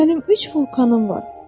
Mənim üç vulkanım var.